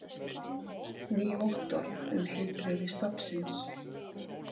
Ný vottorð um heilbrigði stofnsins